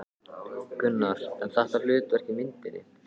Gunnar: En þitt hlutverk í myndinni?